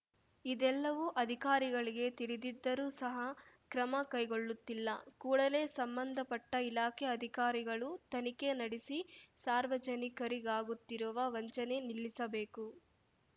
ಇದೆಲ್ಲವು ಅಧಿಕಾರಿಗಳಿಗೆ ತಿಳಿದಿದ್ದರೂ ಸಹ ಕ್ರಮ ಕೈಗೊಳ್ಳುತ್ತಿಲ್ಲ ಕೂಡಲೇ ಸಂಬಂಧಪಟ್ಟಇಲಾಖೆ ಅಧಿಕಾರಿಗಳು ತನಿಖೆ ನಡೆಸಿ ಸಾರ್ವಜನಿಕರಿಗಾಗುತ್ತಿರುವ ವಂಚನೆ ನಿಲ್ಲಿಸಬೇಕು